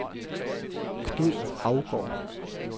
Knud Haugaard